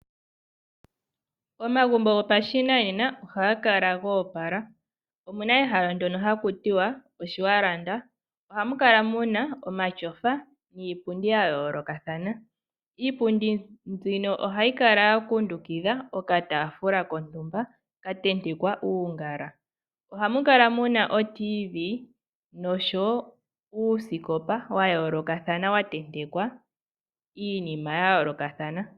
Omagumbo gopashinanena ohaga kala go opala. Omuna ehala ndono haku tiwa oshiwalanda. Ohamu kala muna omatyofa niipundi ya yoolokathana , iipundi mbino ohayi kala ya kundukidha okataafula kontumba ka tentekwa uungala. Ohamu kala muna otiivi noshowo uusikopa wa yoolokathana wa tentekwa iinima ya yoolokathana.